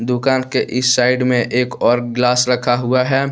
दुकान के इस साइड में एक और ग्लास रखा हुआ है।